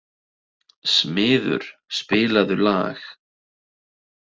Smiður, spilaðu lag.